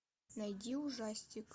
найди ужастик